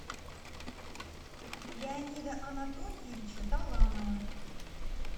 леонида анатольевича таланова